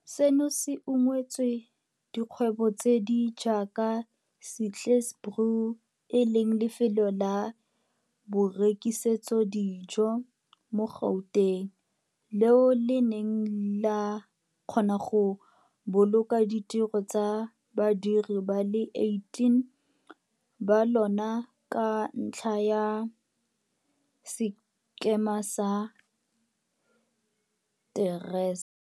Seno se ungwetse dikgwebo tse di jaaka Sihle's Brew, e leng lefelo la borekisetso dijo mo Gauteng, leo le neng la kgona go boloka ditiro tsa badiri ba le 18 ba lona ka ntlha ya sekema sa TERS.